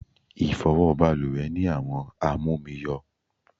Ifowo baluwe ni àwọn amomi yo